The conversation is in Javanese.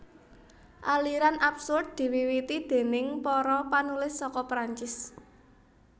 Aliran absurd diwiwiti déning para panulis saka Perancis